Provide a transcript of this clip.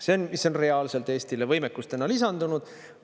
See on reaalselt Eestile võimekust täna lisandunud.